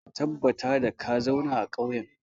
Ka tabbatar da ka zauna a ƙauyen!